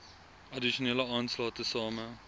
addisionele aanslae tesame